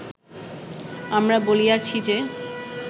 আমরা বলিয়াছি যে